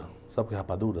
Sabe o que é rapadura?